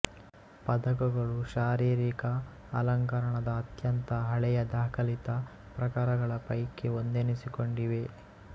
ಪದಕಗಳು ಶಾರೀರಿಕ ಅಲಂಕರಣದ ಅತ್ಯಂತ ಹಳೆಯ ದಾಖಲಿತ ಪ್ರಕಾರಗಳ ಪೈಕೆ ಒಂದೆನಿಸಿಕೊಂಡಿವೆ